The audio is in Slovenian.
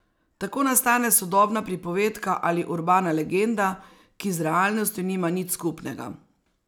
Tako nastane sodobna pripovedka ali urbana legenda, ki z realnostjo nima nič skupnega.